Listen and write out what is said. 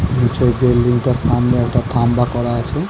নিচের বিল্ডিং টার সামনে একটা খাম্বা করা আছে।